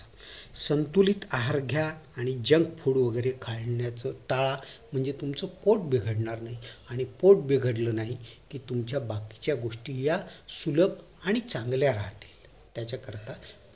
संतुलित आहार घ्या आणि junk food वैगेरे खाण्याचं टाळा म्हणजे तुमचं पोट बिघडणार नाही आणि पोट बिघडलं नाही कि तुमच्या बाकीच्या गोष्टी या सुलभ आणि चांगल्या राहतील त्याच्याकरिता